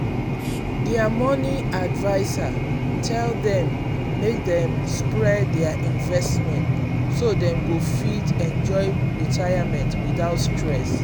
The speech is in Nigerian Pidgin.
their money adviser tell dem make dem spread their investment so dem go fit enjoy retirement without stress.